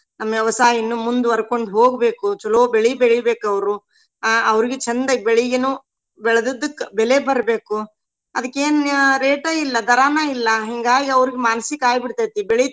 ನಮ್ಮ ವ್ಯವಸಾಯ ಇನ್ನು ಮುಂದುವರ್ಕೊಂಡ್ ಹೊಗ್ಬೇಕು. ಚಲೋ ಬೆಳಿ ಬೆಳಿಬೇಕ್ ಅವ್ರು. ಅಹ್ ಅವ್ರಿಗು ಚಂದಗೆ ಬೆಳಿಗನು ಬೆಳದದಕ್ಕ ಬೆಲೆ ಬರ್ಬೆಕು. ಅದಕ್ಕೇನ್ rate ಇಲ್ಲಾ ದರಾನ ಇಲ್ಲಾ ಹಿಂಗಾಗಿ ಅವ್ರಿಗ್ ಮಾನ್ಸಿಕ ಆಗಿಬಿಡ್ತೇತಿ.